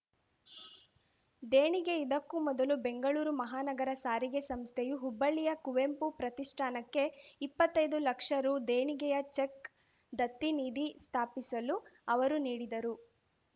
ದೇಣಿಗೆ ಇದಕ್ಕೂ ಮೊದಲು ಬೆಂಗಳೂರು ಮಹಾನಗರ ಸಾರಿಗೆ ಸಂಸ್ಥೆಯು ಹುಬ್ಬಳ್ಳಿಯ ಕುವೆಂಪು ಪ್ರತಿಷ್ಠಾನಕ್ಕೆ ಇಪ್ಪತ್ತೈದು ಲಕ್ಷ ರೂ ದೇಣಿಗೆಯ ಚೆಕ್‌ ದತ್ತಿನಿಧಿ ಸ್ಥಾಪಿಸಲು ಅವರು ನೀಡಿದರು